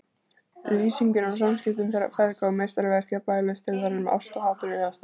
Lýsingin á samskiptum þeirra feðga er meistaraverk jafnvægislistar þar sem ást og hatur vegast á.